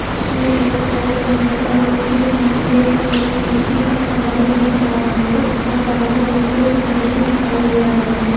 बीच में एक पोल है और उसके पीछे एक टी_सी का खंबा भी दिख रहा है और बाजू में कुछ घर भी दिखाई दे रहे हैं।